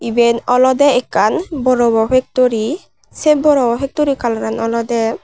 eben olowde ekkan boropo pektori se boropo pektori kalaran olodey.